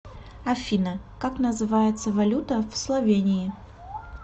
афина как называется валюта в словении